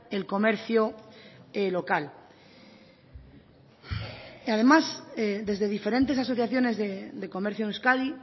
el comercio local además desde diferentes asociaciones de comercio en euskadi